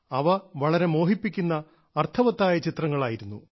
അവ വളരെ മോഹിപ്പിക്കുന്ന അർത്ഥവത്തായ ചിത്രങ്ങളായിരുന്നു